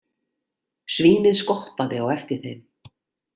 Svínið skoppaði á eftir þeim.